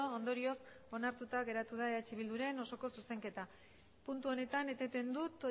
ondorioz onartuta geratu da eh bilduren osoko zuzenketa puntu honetan eteten dut